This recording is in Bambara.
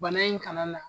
Bana in kana na